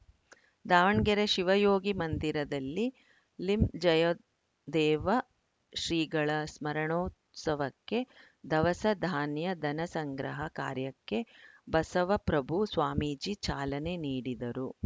ದಾವಣಗೆರೆ ಶಿವಯೋಗಿ ಮಂದಿರದಲ್ಲಿ ಲಿಂಜಯದೇವ ಶ್ರೀಗಳ ಸ್ಮರಣೋತ್ಸವಕ್ಕೆ ಧವಸ ಧಾನ್ಯ ಧನ ಸಂಗ್ರಹ ಕಾರ್ಯಕ್ಕೆ ಬಸವಪ್ರಭು ಸ್ವಾಮೀಜಿ ಚಾಲನೆ ನೀಡಿದರು